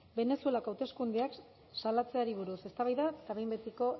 venezuelako hauteskundeak salatzeari buruz eztabaida eta behin betiko